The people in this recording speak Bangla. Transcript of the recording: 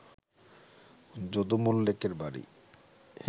যদু মল্লিকের বাড়ি